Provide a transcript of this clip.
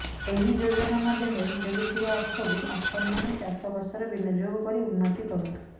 ଏହି ଯୋଜନା ମାଧ୍ୟମରେ ମିଳୁଥିବା ଅର୍ଥକୁ ଆପଣମାନେ ଚାଷବାସରେ ବିନିଯୋଗ କରି ଉନ୍ନତି କରନ୍ତୁ